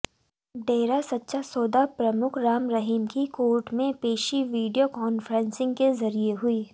डेरा सच्चा सौदा प्रमुख राम रहीम की कोर्ट में पेशी वीडियो कॉन्फ्रेंसिंग के जरिए हुई